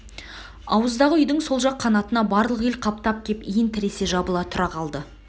ауыздағы үйдің сол жақ қанатына барлық ел қаптап кеп иін тіресе жабыла тұра қалды